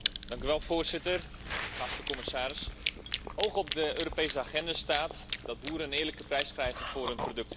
Voorzitter, geachte commissaris, hoog op de Europese agenda staat dat boeren een eerlijke prijs moeten krijgen voor hun producten.